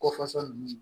Kɔfasa ninnu